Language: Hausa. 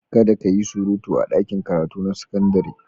Kada ki yi surutu a ɗakin karatu na sakandare.